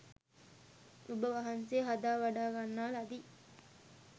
ඔබවහන්සේ හදා වඩා ගන්නා ලදී.